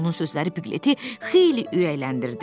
Onun sözləri Pqleti xeyli ürəkləndirdi.